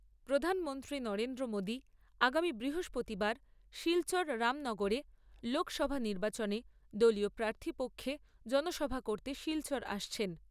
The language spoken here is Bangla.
প্রধানমন্ত্রী নরেন্দ্র মোদী আগামী বৃহস্পতিবার শিলচর রামনগরে লোকসভা নির্বাচনে দলীয় প্রার্থীর পক্ষে জনসভা করতে শিলচর আসছেন।